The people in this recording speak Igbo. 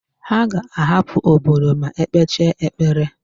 Ha ga-ahapụ obodo ma e kpechaa ekpere.